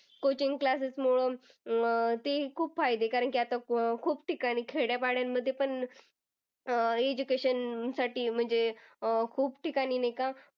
coaching class मूळ अं ते ही खूप फायदे कारण की आता खूप ठिकाणी खेड्यापाड्यामध्ये पण अं education साठी म्हणजे अं खूप ठिकाणी नाही का?